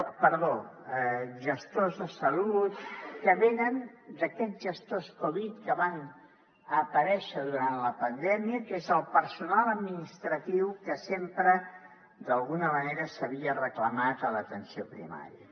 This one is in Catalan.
perdó gestors de salut que venen d’aquests gestors covid que van aparèixer durant la pandèmia que és el personal administratiu que sempre d’alguna manera s’havia reclamat a l’atenció primària